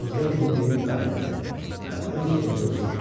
Qozbel bunu deyib qayıtdı və öz yerində uzandı.